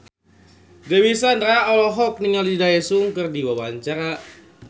Dewi Sandra olohok ningali Daesung keur diwawancara